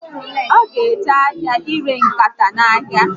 O ga eje ahịa ire nkata ya n'ahịa